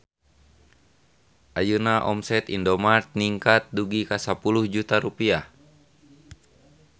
Ayeuna omset Indomart ningkat dugi ka 10 juta rupiah